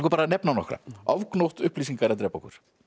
að nefna nokkra ofgnótt upplýsinga er að drepa okkur